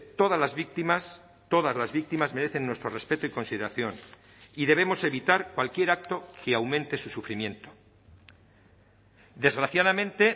todas las víctimas todas las víctimas merecen nuestro respeto y consideración y debemos evitar cualquier acto que aumente su sufrimiento desgraciadamente